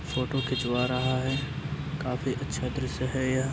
Photo खिंचवा रहा है। काफी अच्छा दृश्य है यह।